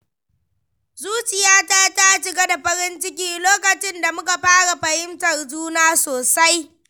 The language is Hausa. Zuciyata ta cika da farin ciki lokacin da muka fara fahimtar juna sosai.